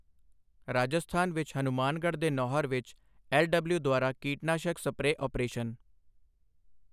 ਰਾਜਸਥਾਨ ਵਿੱਚ ਹਨੁਮਾਨਗੜ੍ਹ ਦੇ ਨੌਹਰ ਵਿੱਚ ਐੱਲਡਬਲਿਯਓੂ ਦੁਆਰਾ ਕੀਟਨਾਸ਼ਕ ਸਪਰੇਅ ਅਪਰੇਸ਼ਨ